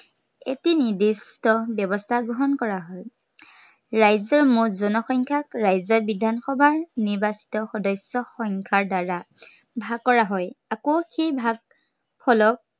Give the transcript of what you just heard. এটি নিৰ্দিষ্ট ব্য়ৱস্থা গ্ৰহণ কৰা হয়। ৰাজ্য়ৰ মুঠ জনসংখ্য়াক ৰাজ্য়ৰ মুঠ বিধানসভাৰ নিৰ্বাচিত সদস্য় সংখ্য়াৰ দ্বাৰা ভাগ কৰা হয়। আকৌ সেই ভাগ, ফলক